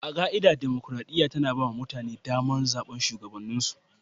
A ka'ida, dimokuradiyya tana ba mutane damar zabar shugabanninsu.